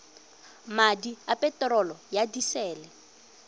madi a peterolo ya disele